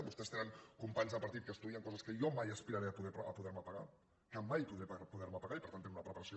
vostès tenen companys de partit que estudien coses que jo mai aspiraré a poder me pagar que mai podré poder me pagar i per tant tenen una preparació